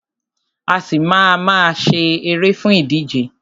A ṣì má a ma sá eré fún ìdíje.